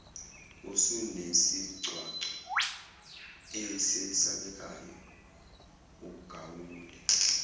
usunesigcwagcwa esesabekayo ugawule